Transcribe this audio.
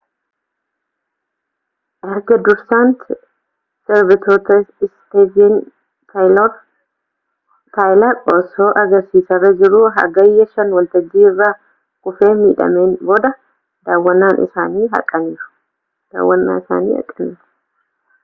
erga dursaan sirbitootaa istiiven taayilar osoo agarsiisarra jiruu hagayya 5 waltajjii irraa kufee midhaameen booda daawwannaa isaanii haqaniiru